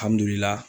Alihamdullilaye